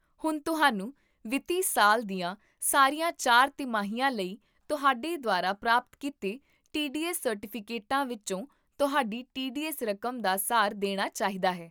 ਹੁਣ ਤੁਹਾਨੂੰ ਵਿੱਤੀ ਸਾਲ ਦੀਆਂ ਸਾਰੀਆਂ ਚਾਰ ਤਿਮਾਹੀਆਂ ਲਈ ਤੁਹਾਡੇ ਦੁਆਰਾ ਪ੍ਰਾਪਤ ਕੀਤੇ ਟੀਡੀਐੱਸ ਸਰਟੀਫਿਕੇਟਾਂ ਵਿੱਚੋਂ ਤੁਹਾਡੀ ਟੀਡੀਐੱਸ ਰਕਮ ਦਾ ਸਾਰ ਦੇਣਾ ਚਾਹੀਦਾ ਹੈ